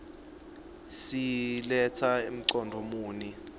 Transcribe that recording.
siletsa mcondvo muni